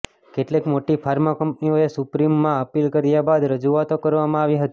કેટલીક મોટી ફાર્મા કંપનીઓએ સુપ્રીમમાં અપીલ કર્યા બાદ રજૂઆતો કરવામાં આવી હતી